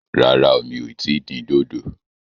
Rárá o, mi ò tí ì dín dòdò